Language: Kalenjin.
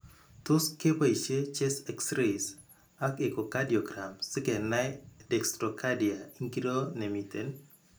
Tos' keboisie Chest X raxys ak echocardiograms si kenai dextrocardia ing'iro ne miten.